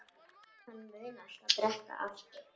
Hann mun alltaf drekka aftur.